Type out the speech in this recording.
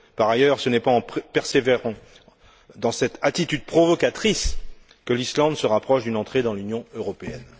Par ailleurs, ce n'est pas en persévérant dans cette attitude provocatrice que l'Islande se rapproche d'une entrée dans l'Union européenne.